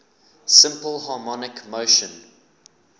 simple harmonic motion